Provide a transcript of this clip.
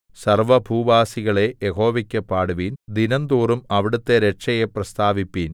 സർവ്വഭൂവാസികളേ യഹോവയ്ക്കു പാടുവിൻ ദിനംതോറും അവിടുത്തെ രക്ഷയെ പ്രസ്താവിപ്പിൻ